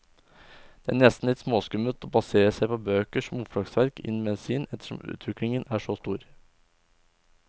Det er nesten litt småskummelt å basere seg på bøker som oppslagsverk innen medisin, ettersom utviklingen er så stor.